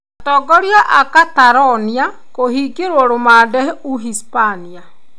Atongoria a Catalonia kũhingĩrwo rũmande ũhispania.